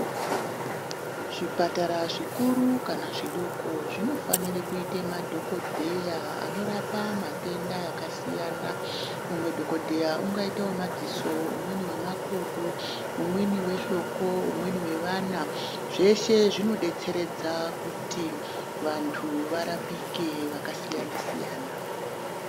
Zvipatara zvikuru kana zvidoko zvinofanire kuita madhogodheya anorapa matenda akasiyana-siyana. Umwe dhogodheya ungaite wemadziso, umweni wemakodo, umweni wehloko, umweni wevana, zveshe zvinodetseredza kuti vantu varapike vakasiyana-siyana.